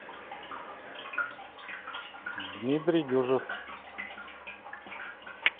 дмитрий дюжев